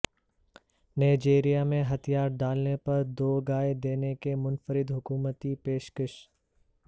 Nigeria میں ہتھیار ڈالنے پر دو گائے دینے کی منفرد حکومتی پیش کش